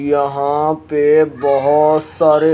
यहाँ पे बहुत सारे--